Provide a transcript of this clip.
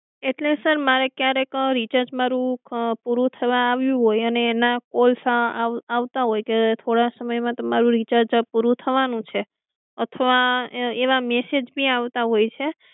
એટલે સર મારે ક્યારેક રીચાર્જ મારુ પૂરું થવા આવ્યું હોય અને એના કોલ્સ આવતા હોય કે થોડા માં સમય તમારું રિચાર્જ પૂરું થવાનું છે અથવા એવા મેસેજ ભી આવતા હોય છે